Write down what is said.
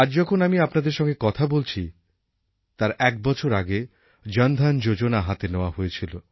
আজ যখন আমি আপনাদের সঙ্গে কথা বলছি তার একবছর আগে জনধন যোজনা হাতে নেওয়া হয়েছিল